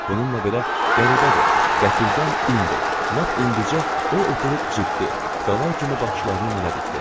Bununla belə qəribədir, qəfildən indi, lap indicə o oturub ciddi, qala kimi baxışlarını mənə dikdi.